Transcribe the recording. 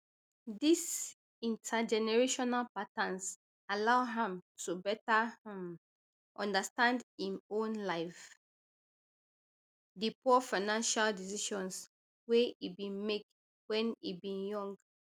dis intergenerational patterns allow am to better um understand im own life and di poor financial decisions wey e bin make wen e bin young